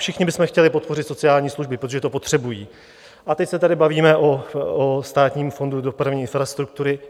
Všichni bychom chtěli podpořit sociální služby, protože to potřebují, a teď se tady bavíme o Státním fondu dopravní infrastruktury.